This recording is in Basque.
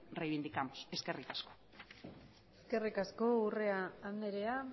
reivindicamos eskerrik asko eskerrik asko urrea andrea